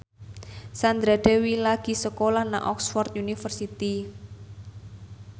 Sandra Dewi lagi sekolah nang Oxford university